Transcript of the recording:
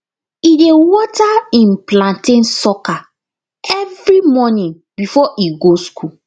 e dey water im plantain sucker every morning before e go school